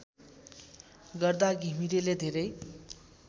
गर्दा घिमिरेले धेरै